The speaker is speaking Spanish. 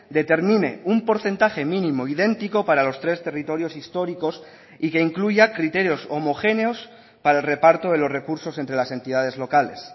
determine un porcentaje mínimo idéntico para los tres territorios históricos y que incluya criterios homogéneos para el reparto de los recursos entre las entidades locales